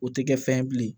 O tɛ kɛ fɛn ye bilen